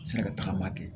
Se ka tagama kɛ